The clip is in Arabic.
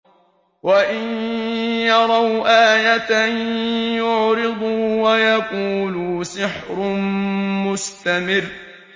وَإِن يَرَوْا آيَةً يُعْرِضُوا وَيَقُولُوا سِحْرٌ مُّسْتَمِرٌّ